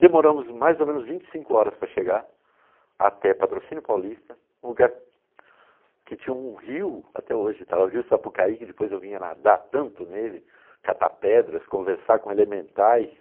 Demoramos mais ou menos vinte e cinco horas para chegar até Patrocínio Paulista, um lugar que tinha um rio até hoje, o rio Sapucaí, que depois eu vinha nadar tanto nele, catar pedras, conversar com elementais.